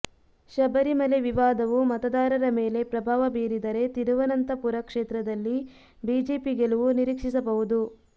ಶಬರಿಮಲೆ ವಿವಾದವು ಮತದಾರರ ಮೇಲೆ ಪ್ರಭಾವ ಬೀರಿದರೆ ತಿರುವನಂತಪುರ ಕ್ಷೇತ್ರದಲ್ಲಿ ಬಿಜೆಪಿ ಗೆಲುವು ನಿರೀಕ್ಷಿಸಬಹುದು